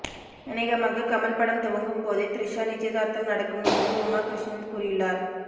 அநேகமாக கமல் படம் துவங்கும்போதே த்ரிஷா நிச்சயதார்த்தம் நடக்கும் என்று உமா கிருஷ்ணன் கூறியுள்ளார்